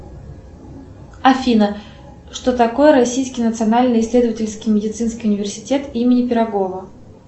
афина что такое российский национальный исследовательский медицинский университет имени пирогова